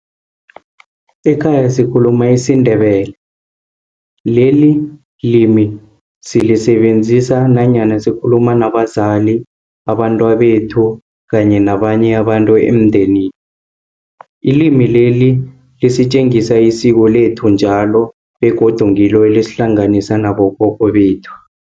Ekhaya sikhuluma isindebele, leli limi silisebenzisa nanyana sikhuluma nabazali, abantwabethu, kanye nabanye abantu emndenini. Ilimi leli, lisetjengisa isiko lethu njalo, begodu ngilo elisihlanganisa nabokhokho bethu.